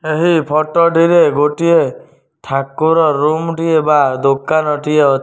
ଏହି ଫୋଟୋ ଟିରେ ଗୋଟିଏ ଠାକୁର ରୁମ ଟିଏ ବା ଦୋକାନ ଟିଏ ଅ --